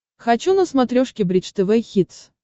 хочу на смотрешке бридж тв хитс